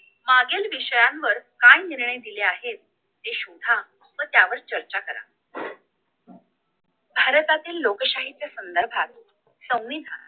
मागील विषयांवर काय निर्णय दिले आहेत ते शोधा व त्यावर चर्चा करा भारतातील लोकशाहीच्या संधर्भात संविधान